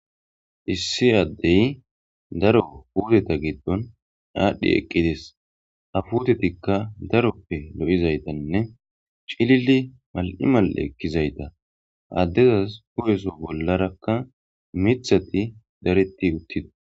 issi addey daro puteta giddon aadhdhi eqqides ha futetikka daroppe lo7izaytanne cilili mal7imal7e ekkizayta addezas ko7eso bollarakka mithati dareti uttida